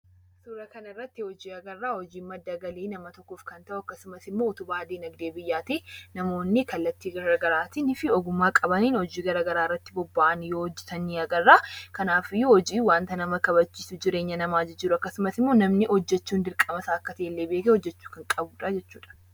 Suura kana irratti hojii agarra. Hojiin madda galii nama tokkoof kan ta'u akkasumas immoo utubaa diinagdee biyyaati. Namoonni kallattii gara garaatii fi ogummaa qabaniin hojii garaa garaa irratti bobba'anii hojjetan ni agarra. Kanaafuu, waanta nama kabachiisu, jireenya namaa jijjiiru, akkasumas immoo namni hojjechuun dirqama isaa akka ta'ellee beekee hojjechuu akka qabudhaa jechuudha.